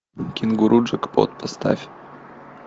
кенгуру джекпот поставь